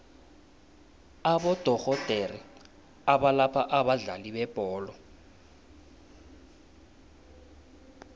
abodorhodere abalapha abadlali bebholo